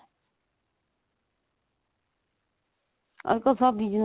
ਅੱਜਕਲ ਸਭ business